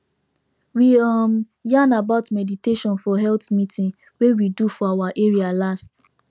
we um yarn about meditation for health meeting wey we do for our area last